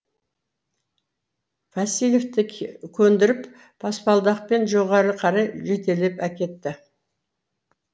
васильевті көндіріп баспалдақпен жоғары қарай жетелеп әкетті